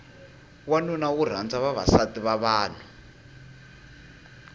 wanuna wo rhanda vavasativa vanhu